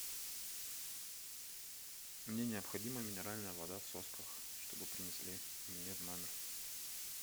мне необходима минеральная вода в сосках чтобы принесли мне в номер